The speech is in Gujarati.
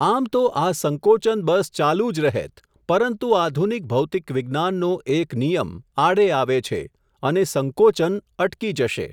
આમ તો આ સંકોચન બસ ચાલુજ રહેત, પરંતુ આધુનિક ભૌતિક વિજ્ઞાનનો એક નિયમ, આડે આવે છે, અને સંકોચન અટકી જશે.